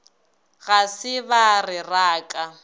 ga se ba re raka